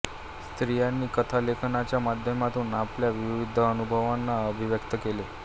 स्त्रियांनी कथालेखनाच्या माध्यमातून आपल्या विविध अनुभवांना अभिव्यक्त केले